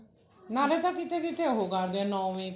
ਨਾਲੇ ਤਾਂ ਕੀਤੇ ਕੀਤੇ ਉਹ ਕਰਦੇ ਆ ਨੋਵੀਂ